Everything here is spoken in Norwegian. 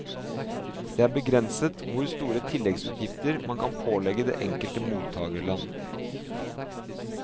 Det er begrenset hvor store tilleggsutgifter man kan pålegge det enkelte mottakerland.